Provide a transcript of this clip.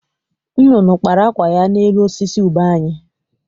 Nnụnụ kpara akwụ ya n'elu osisi ube anyị.